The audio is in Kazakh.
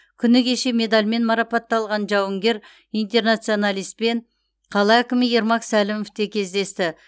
күні кеше медальмен марапатталған жауынгер интернационалистпен қала әкімі ермак сәлімов те кездесті